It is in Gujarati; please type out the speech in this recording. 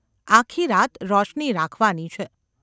આખી રાત રોશની રાખવાની છે.